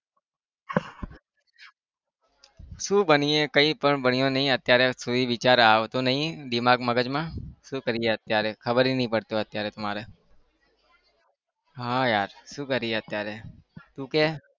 શું બનીએ કઈ પણ ભણ્યો નહિ અત્યારે સુધી વિચાર આવતો નહિ દિમાગ મગજમાં શું કરીએ અત્યારે ખબર બી નહિ પડતું અત્યારે તો મારે હા યાર શું કરીએ અત્યારે તું કે